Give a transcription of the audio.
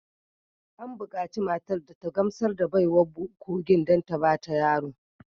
An bukaci matar da ta gamsar da baiwar kogin don ta ba ta yaro